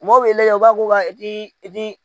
Mɔgɔw bɛ lajɛ u b'a fɔ i ti i ti